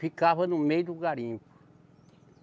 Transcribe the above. Ficava no meio do garimpo.